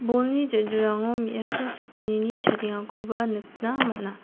bolni ja·dilrango me·asa sakgnini chadengakoba nikna man·a.